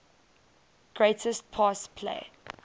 greatest pass play